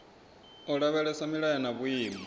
u lavhelesa milayo na vhuimo